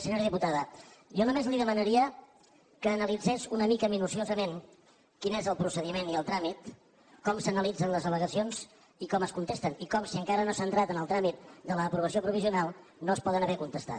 senyora diputada jo només li demanaria que analitzés una mica minuciosament quin és el procediment i el tràmit com s’analitzen les al·legacions i com es contesten i com si encara no s’ha entrat en el tràmit de l’aprovació provisional no es poden haver contestat